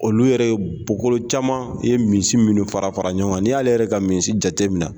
Olu yɛrɛ ye bɔkolo caman ye misi minnu fara fara ɲɔgɔn kan n'i y'ale yɛrɛ ka misiw jateminɛ